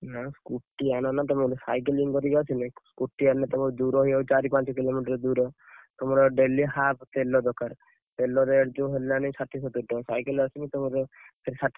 ନା ତମେ scooty ଆଣ ନା, ତମେ ଗୋଟେ cycling କରିକି ଆସିଲେ scooty ଆଣିଲେତମର ଦୂର ହେଇଯାଉଛି, ଚାରି ପାଞ୍ଚ କିଲୋ ମଟର ଦୂର ତମର daily half ତେଲ ଦରକାର ତେଲ rate ଯଉ ହେଲାଣି।